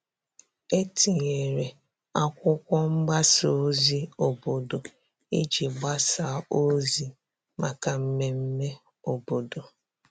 E tinyere akwụkwo mgbasa ozi obodo iji gbasa ozi maka mmeme obodo.